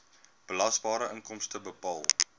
belasbare inkomste bepaal